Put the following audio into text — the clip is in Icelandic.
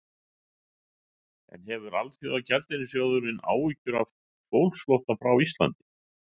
En hefur Alþjóðagjaldeyrissjóðurinn áhyggjur af fólksflótta frá Íslandi?